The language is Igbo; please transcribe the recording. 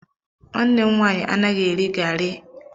Nwanne m nwaanyị anaghị eri garịi (eba).